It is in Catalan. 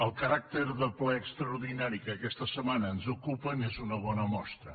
el caràcter de ple extraordinari que aquesta setmana ens ocupa n’és una bona mostra